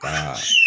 Ka